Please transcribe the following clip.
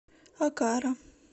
окара